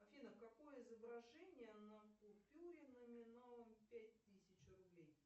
афина какое изображение на купюре номиналом пять тысяч рублей